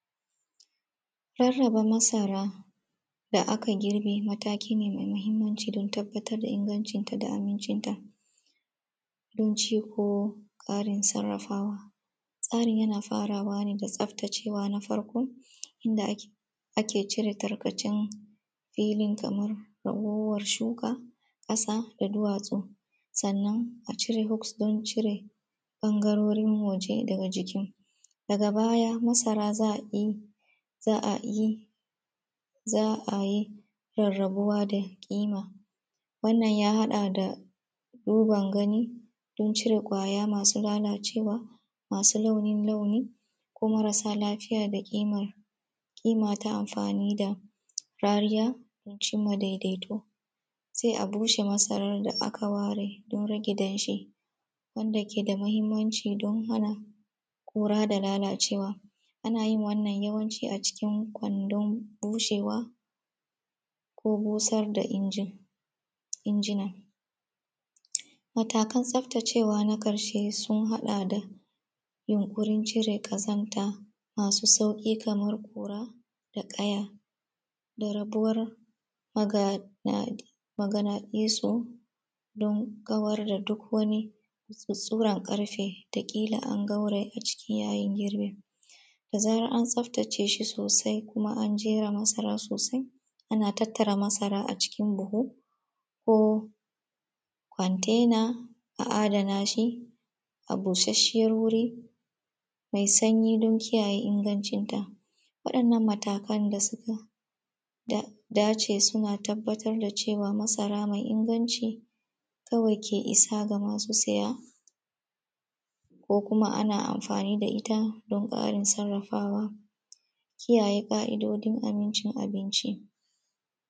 Rarraba masara da aka girbe mataki ne mai muhimmanci don tabbatar da amincin ta da ingancin ta, don ci ko ƙarin sarrafawa. Tsarin yana faraway ne da tsaftacewa na farko, inda ake cire tarkacen filin kamar ragowwar shuka, ƙasa da duwatsu. Sannan a cire hos ɗin cire ɓagarorin waje daga jiki. Daga baya masara ya a yi, za ayi za a yi rarrabuwa da ƙima, wannan ya haɗa da ruban gani don cire ƙwaya masu lalacewa, masu launo launi ko marasa lafiya da kima. Kima ta aamfani da rariya dan cin ma daidaito. Sai a bushe masarar da aka ware don rage danshi, wanda ke da muhimmanci don hana ƙura da lalacewa. Ana yin wannan yawancin a kwandon bushewa ko busar da injin injinan. Matalan tsaftacewa na ƙarshe sun haɗa da yunƙurin cire ƙazanta, masu sauƙi kamar ƙura da ƙaya da rabuwar maganaɗisu, don kawar da duk wani tsuttsurar ƙarfe da kila an garwaya a ciki yayin girbi. Da zarar an tsaftace shi sosai kima an jera masara sosai ana tattara masara a cikin buhu ko kontena a adana shi, a bushasseyar wuri mai sanyi don kiyaye ingancinta. Waɗannan matakan da suka dace da, suna tabbatar da cewa masara mai inganci kawai ke isa fa masu saya ko kuma ana amfani da ita don ƙarin sarrafawa, kiyayen ƙa’idojin amincin abinci.